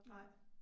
Nej